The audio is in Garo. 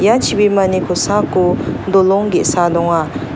ia chibimani kosako dolong ge·sa donga.